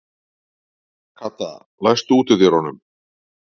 Kata, læstu útidyrunum.